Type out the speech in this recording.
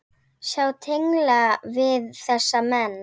Sjá tengla við þessa menn.